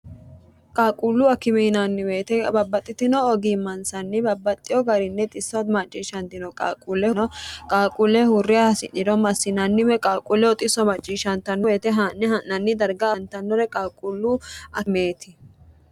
qaaquullu akime yinaanni woyete babbaxxitino ogiimmansanni babbaxxino garinni xissot maacciishshantino qaaquulleno qaaquulle huurre hasi'niro massinanni woy qaaquule xisso macciishanturo haa'ne ha'nanni darga aantannore qaaquullu akimeeti.